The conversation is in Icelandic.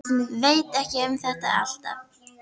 Veit ekki með þetta alltaf.